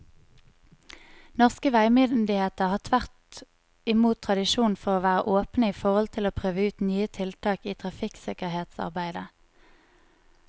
Norske veimyndigheter har tvert imot tradisjon for å være åpne i forhold til å prøve ut nye tiltak i trafikksikkerhetsarbeidet.